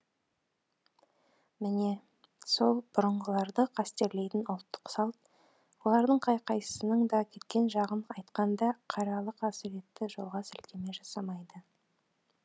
міне сол бұрынғыларды қастерлейтін ұлттық салт олардың қай қайсысының да кеткен жағын айтқанда қаралы қасіретті жолға сілтеме жасамайды